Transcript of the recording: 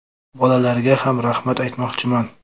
Bollarga ham rahmat aytmoqchiman.